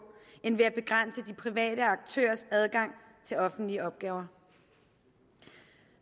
end ved at begrænse de private aktørers adgang til offentlige opgaver